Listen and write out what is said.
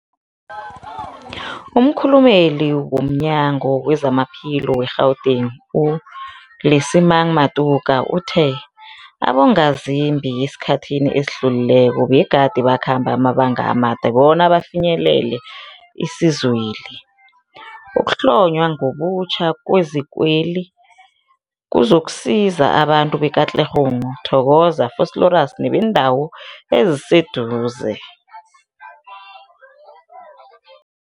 Umkhulumeli womNyango weZamaphilo we-Gauteng, u-Lesemang Matuka uthe abongazimbi esikhathini esidlulileko begade bakhamba amabanga amade bona bafinyelele isizweli. Ukuhlonywa ngobutjha kwezikweli kuzokusiza abantu be-Katlehong, Thokoza, Vosloorus nebeendawo eziseduze.